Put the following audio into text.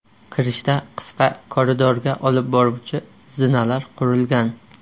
Kirishda qisqa koridorga olib boruvchi zinalar qurilgan.